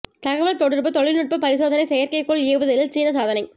தகவல் தொடர்புத் தொழில் நுட்பப் பரிசோதனை செயற்கைக்கோள் ஏவுதலில் சீனச் சாதனை